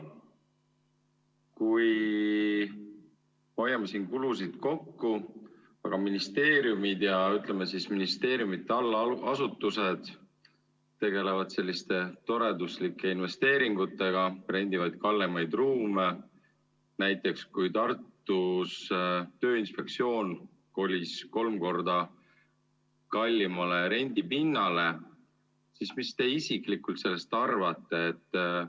Kui hoiame siin kulusid kokku, aga ministeeriumid ja, ütleme, ministeeriumide allasutused tegelevad selliste toreduslike investeeringutega, rendivad kallimaid ruume, näiteks Tartus Tööinspektsioon kolis kolm korda kallimale rendipinnale, siis mis te isiklikult sellest arvate?